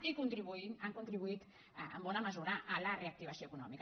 i han contribuït en bona mesura a la reactivació econòmica